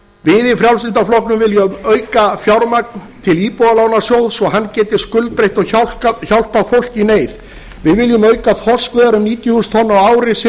við í frjálslynda flokknum viljum auka fjármagn til íbúðalánasjóðs svo hann geti skuldbreytt og hjálpað fólki í neyð við viljum auka þorskveiðar um níutíu þúsund tonn á ári sem